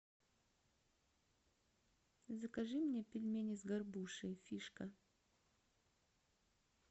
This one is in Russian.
закажи мне пельмени с горбушей фишка